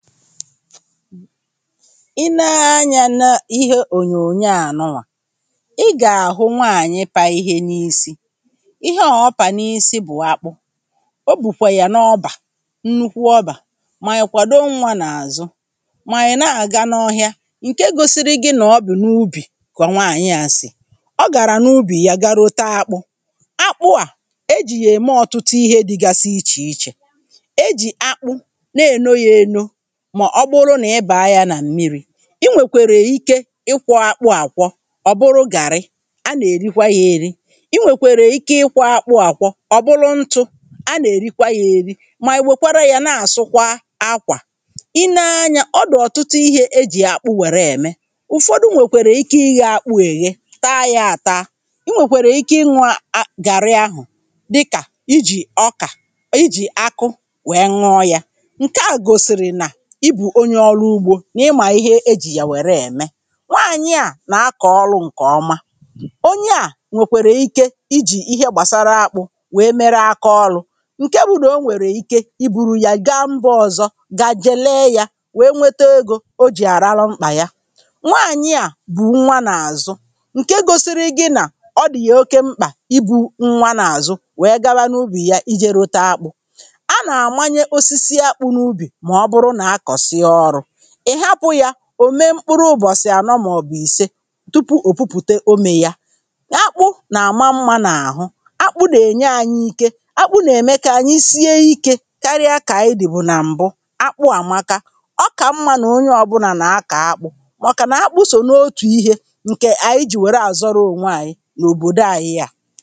i nee anyȧ nà ihe ònyònyo à dọwà ị gà-àhụ nwaànyị̀ pa ihe n’isi ihe ọ̀ọpà n’isi bụ̀ akpụ̇ o bùkwè yà n’ọbà nnukwu ọbà mà nà-èkwado nwa n’àzụ mà yà na-àga n’ọhịȧ ǹke gosiri gị nọ ọ bụ̀ n’ubì kà ọ nwaànyị̀ a sì ọ gàrà n’ubì ya garota akpụ akpụ à e jì yà ème ọ̀tụtụ ihe dịgasị ichè ichè e jì akpụ mà ọ bụrụ nà ị bàa yȧ nà mmiri̇ i nwèkwèrè ike ịkwọ̇ akpụ àkwọ ọ̀ bụrụ gàrị a nà-èrikwa yȧ eri i nwèkwèrè ike ịkwọ̇ akpụ àkwọ ọ̀ bụrụ ntụ a nà-èrikwa yȧ eri mà èwèkwara yȧ na-àsụkwa akwà i nee anyȧ ọ dị̀ ọ̀tụtụ ihė ejì akpụ wère ème ụ̀fọdụ nwèkwèrè ike ịghe akpụ̇ èghe taa yȧ taa i nwèkwèrè ike ịnwȧ ȧ gàri ahụ̀ dịkà ijì ọkà ijì akụ wèe ñọ yȧ ǹke à gosìrì nà ihe à bụ̀ onye ọrụ ugbȯ n’ịmà ihe ejì yà wère ème nwaànyị̀ a nà-akọ̀ ọlụ̇ ǹkè ọma onye à nwèkwèrè ike ijì ihe gbàsara akpụ̇ nwèe mere aka ọlụ̇ ǹke bu nà o nwèrè ike i buru yà gambazọ̇ ọ̀zọ ga jelee yȧ wèe nwete egȯ o jì àrarọ mkpà ya nwaànyị̀ a bụ̀ nwa n’àzụ ǹke gosiri i gị nà ọ dị̀ yè oke mkpà ibu̇ nwa n’àzụ wèe gawa n’ubì ya ijė rote akpụ̇ a nà-àmanye osisi akpụ n’ubì ị̀ hapụ̇ yȧ òme mkpụrụ ụbọ̀sị̀ ànọ màọ̀bụ̀ ìse tupu òpupùte omė yȧ, akpụ nà-àma mmȧ n’àhụ akpụ nà-ènye ànyị ike, akpụ nà-ème kà ànyị sie ikė karịa kà ànyị dị̀ bụ̀ nà m̀bụ akpụ àmaka ọ kà mmȧ nọ̀ onye ọ̇bụ̇nà nà-akọ̀ akpụ̇ màọ̀kà nà-akpụ sò n’otù ihė ǹkè ànyị jìwère àzọrọ ònwe ànyị n’òbòdo ȧhị̇ yȧ